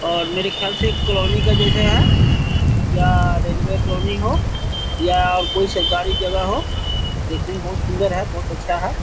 और मेरे ख्याल से एक कॉलोनी के जैसे है या रेलवे कॉलोनी हो या कोई सरकारी जगह हो देखने में बहुत सुंदर है बहुत अच्छा है।